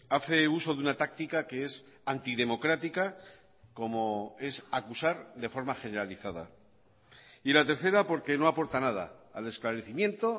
hace uso de una táctica que es antidemocrática como es acusar de forma generalizada y la tercera porque no aporta nada al esclarecimiento